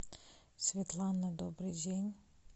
светлана добрый день